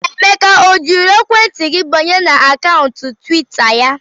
Emeka o jiri ekwentị gị banye na akaụntụ twita ya?